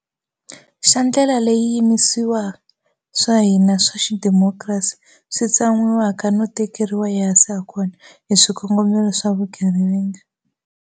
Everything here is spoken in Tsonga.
Xa ndlela leyi swiyimisiwa swa hina swa xidemokirasi swi tsan'wiwaka no tekeriwa ehansi hakona hi swikongo melo swa vugevenga.